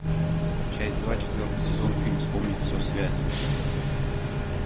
часть два четвертый сезон фильм вспомнить все связь